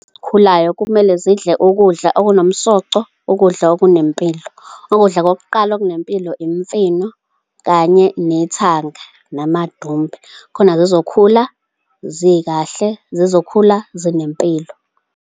Khulayo kumele zidle ukudla okunomsoco, ukudla okunempilo. Ukudla kokuqala okunempilo, imifino kanye nethanga namadumbe. Khona zizokhula zikahle, zizokhula zinempilo.